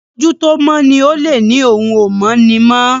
ojú tó mọ ní olè ní òún o mọ ní mọ.